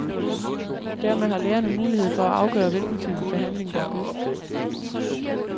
Dermed har lægerne mulighed for at afgøre hvilken type behandling, der er bedst.